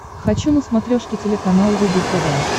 хочу на смотрешке телеканал рубль тв